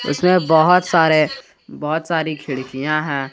इसमे बहोत सारे बहुत सारी खिडकियाँ हैं।